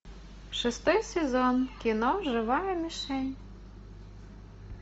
шестой сезон кино живая мишень